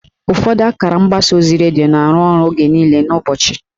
Ụfọdụ akara mgbasa ozi redio na-arụ ọrụ oge niile n'ụbọchị.